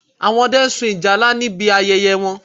Àwọn Ọdẹ sun ìjálá níbi ayẹyẹ wọn